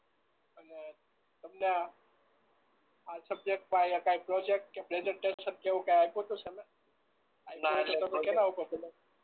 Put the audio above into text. આમાં તમને આ સબ્જેક્ટ કે કાઈ પ્રોજેક્ટ કે પ્રેજન્ટેશન એવું કે કાઈ આપ્યું તું સર એ